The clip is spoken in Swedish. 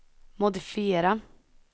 modifiera